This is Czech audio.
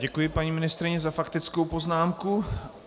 Děkuji paní ministryni za faktickou poznámku.